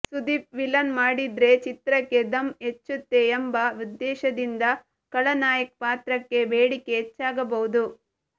Sudeep villain ಮಾಡಿದ್ರೆ ಚಿತ್ರಕ್ಕೆ ಧಮ್ ಹೆಚ್ಚುತ್ತೆ ಎಂಬ ಉದ್ದೇಶದಿಂದ ಖಳನಾಯಕ್ ಪಾತ್ರಕ್ಕೆ ಬೇಡಿಕೆ ಹೆಚ್ಚಾಗಬಹುದು